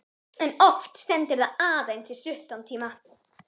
En oft stendur það aðeins í stuttan tíma.